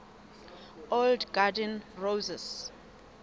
old garden roses